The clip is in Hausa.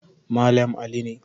Malam Ali ne.